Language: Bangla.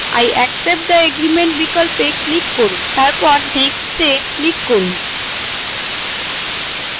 i accept the agreement বিকল্পে click করুন এবং তারপর next এ click করুন